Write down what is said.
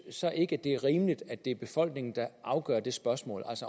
så ikke at det er rimeligt at det er befolkningen der afgør spørgsmålet